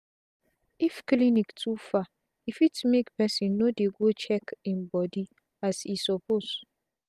if clinic too far e fit make pesin no dey go check i'm body as e suppose